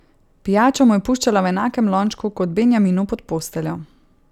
Pijačo mu je puščala v enakem lončku kot Benjaminu pod posteljo.